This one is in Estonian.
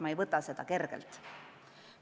Ma ei võta seda kergelt.